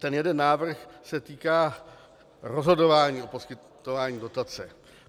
Ten jeden návrh se týká rozhodování o poskytování dotace.